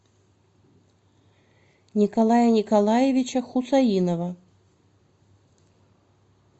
николая николаевича хусаинова